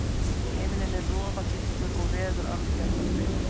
Himinninn er roðagylltur og veður algerlega stillt.